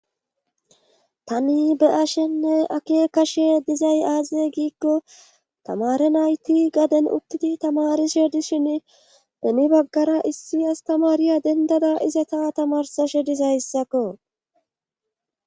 tani be7ashenne akekashe dizay aaziye giikko tamare nayti gaden utidi tamarishe dishin demi baggara issi astamariya dendada ize ta tamarsashe dizayssakko